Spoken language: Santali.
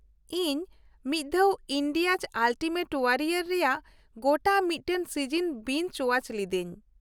ᱤᱧ ᱢᱤᱫ ᱫᱷᱟᱣ 'ᱤᱱᱰᱤᱭᱟᱡ ᱟᱞᱴᱤᱢᱮᱴ ᱳᱣᱟᱨᱤᱭᱚᱨ' ᱨᱮᱭᱟᱜ ᱜᱚᱴᱟ ᱢᱤᱫᱴᱟᱝ ᱥᱤᱡᱚᱱ ᱵᱤᱧᱡ ᱳᱣᱟᱪ ᱞᱤᱫᱟᱹᱧ ᱾